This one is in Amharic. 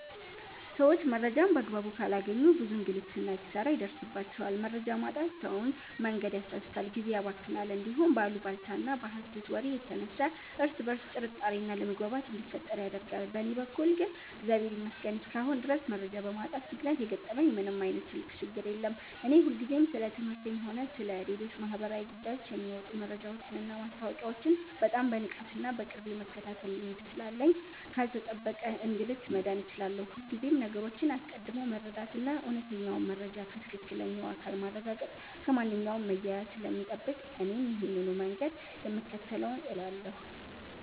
ሰዎች መረጃን በአግባቡ ካላገኙ ብዙ እንግልትና ኪሳራ ይደርስባቸዋል። መረጃ ማጣት ሰውን መንገድ ያሳስታል፣ ጊዜን ያባክናል፣ እንዲሁም በአሉባልታና በሐሰት ወሬ የተነሳ እርስ በርስ ጥርጣሬና አለመግባባት እንዲፈጠር ያደርጋል። በእኔ በኩል ግን እግዚአብሔር ይመስገን እስካሁን ድረስ መረጃ በማጣት ምክንያት የገጠመኝ ምንም ዓይነት ትልቅ ችግር የለም። እኔ ሁልጊዜም ስለ ትምህርቴም ሆነ ስለ ሌሎች ማኅበራዊ ጉዳዮች የሚወጡ መረጃዎችንና ማስታወቂያዎችን በጣም በንቃትና በቅርብ የመከታተል ልማድ ስላለኝ ካልተጠበቀ እንግልት መዳን ችያለሁ። ሁልጊዜም ነገሮችን አስቀድሞ መረዳትና እውነተኛውን መረጃ ከትክክለኛው አካል ማረጋገጥ ከማንኛውም መያያዝ ስለሚጠብቅ እኔም ይሄንኑ መንገድ ነው የምከተለው እላለሁ።